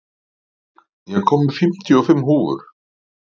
Patrik, ég kom með fimmtíu og fimm húfur!